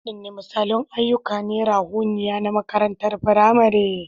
Wadanne misalan ayyuka na ruhaniya na makarantar firamare?